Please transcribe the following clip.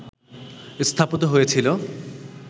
স্থাপিত হয়েছিল